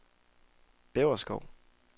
Bjæverskov